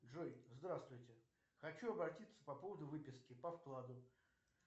джой здравствуйте хочу обратиться по поводу выписки по вкладу